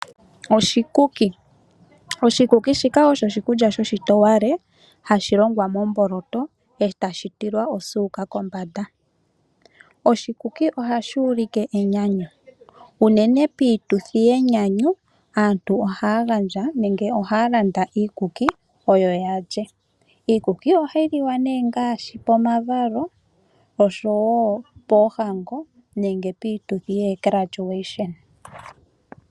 Oshikuki osho oshikulya shoshitowale hashi longwa momboloto e tashi tilwa osuuka kombanda. Oshikuki ohashi ulike enyanyu. Unene piituthi yenyanyu aantu ohaya gandja nenge ohaa landa iikuki oyo ya lye. Iikuki ohayi liwa nee ngaashi pomavalo, oshowo poohango nenge piituthi yomazalo gomaguwo.